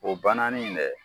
O bananin in dɛ